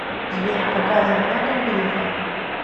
сбер какая зарплата у грефа